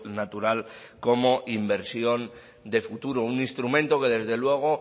natural como inversión de futuro un instrumento que desde luego